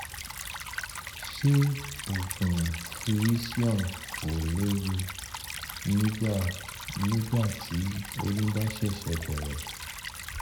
ṣé oògùn frisium kò léwu nígbà nígbà tí oyún bá ṣẹ̀ṣẹ̀ bẹ̀rẹ̀?